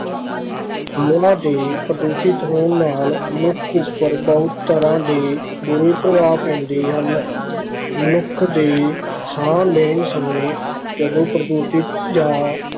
ਹਵਾ ਦੇ ਪ੍ਰਦੂਸ਼ਿਤ ਹੋਣ ਨਾਲ ਮਨੁੱਖ ਉੱਪਰ ਬਹੁਤ ਤਰ੍ਹਾਂ ਦੇ ਬੁਰੇ ਪ੍ਰਭਾਵ ਪੈਂਦੇ ਹਨ, ਮਨੁੱਖ ਦੇ ਸਾਹ ਲੈਣ ਸਮੇਂ ਜਦੋਂ ਪ੍ਰਦੂਸ਼ਿਤ ਜਾਂ